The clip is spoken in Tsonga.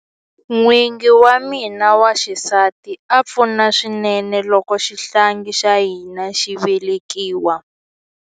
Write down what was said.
N'wingi wa mina wa xisati a pfuna swinene loko xihlangi xa hina xi velekiwa.